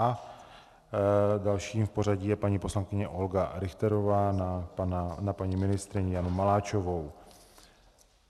A dalším v pořadí je paní poslankyně Olga Richterová na paní ministryni Janu Maláčovou.